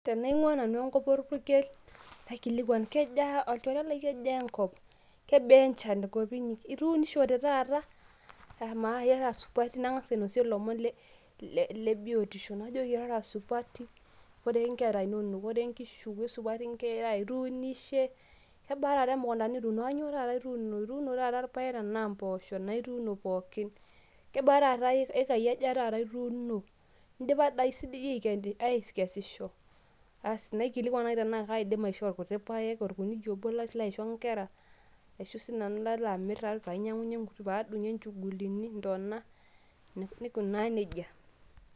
Tenaing'ua nanu enkop orpukel, naikilikwan kejaa olchore lai enkop? Kebaa enchan tenkop inyi? Ituunishote taata? Amaa irara supati? Nang'asa ainosie lomon le biotisho. Najoki irara supati? Koree nkera inonok? Koree nkishu? Kesupati nkera? Ituunishe? Kebaa taata emukunda nituuno? Kanyioo taata ituuno? Ituuno taata irpaek enaa mpoosho? Enaa ituuno pookin? Kebaa taata iyekai aja taata ituuno? Idipa si di aikesisho? Asi naikilikwan nai tenaa kaidim aishoo irkuti paek, orkuniyia obo lalo aisho nkera, ashu sinanu lalo amir painyang'unye padung'ie nchugulini, ntona, naikunaa nejia.